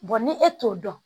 ni e t'o dɔn